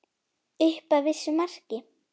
Upp að vissu marki.